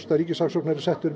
að ríkissaksóknari settur